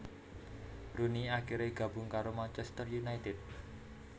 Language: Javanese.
Rooney akhirè gabung karo Manchester united